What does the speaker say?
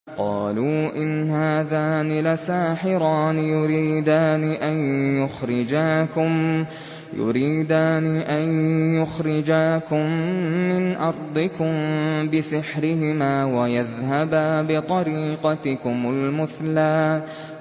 قَالُوا إِنْ هَٰذَانِ لَسَاحِرَانِ يُرِيدَانِ أَن يُخْرِجَاكُم مِّنْ أَرْضِكُم بِسِحْرِهِمَا وَيَذْهَبَا بِطَرِيقَتِكُمُ الْمُثْلَىٰ